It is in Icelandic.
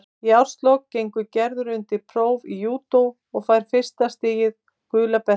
Í árslok gengur Gerður undir próf í júdó og fær fyrsta stigið, gula beltið.